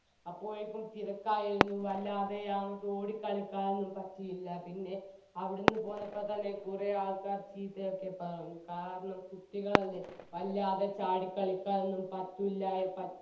അപ്പോഴേക്കും തിരക്കായിരുന്നു വല്ലാതെ ആ ഞങ്ങക്ക് ഓടിക്കളിക്കാനൊന്നും പറ്റിയില്ല പിന്നെ അവിടുന്ന് പോന്നപ്പോത്തന്നെ കുറെ ആൾക്കാർ ചീത്തയൊക്കെ പറഞ്ഞു കാരണം കുട്ടികൾ അല്ലെ വല്ലാതെ ചാടിക്കളിക്കാനൊന്നും പറ്റുല്ല പറ്റി